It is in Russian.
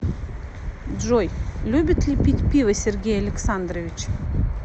джой любит ли пить пиво сергей александрович